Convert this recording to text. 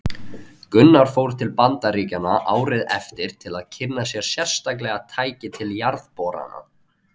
Gunnar fór til Bandaríkjanna árið eftir til að kynna sér sérstaklega tæki til jarðborana.